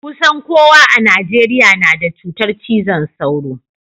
Kusan kowa a Najeriya na da cutar cizon sauro.